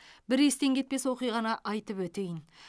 бір естен кетпес оқиғаны айтып өтейін